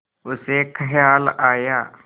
उसे ख़याल आया